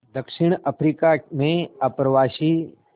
दक्षिण अफ्रीका में अप्रवासी